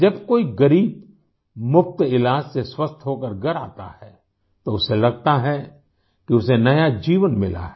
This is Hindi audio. जब कोई ग़रीब मुफ़्त इलाज से स्वस्थ होकर घर आता है तो उसे लगता है कि उसे नया जीवन मिला है